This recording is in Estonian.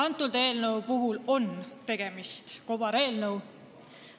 Sellegi eelnõu puhul on tegemist kobareelnõuga.